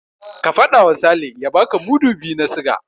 Ka faɗawa Sale ya baka mudu biyu na siga.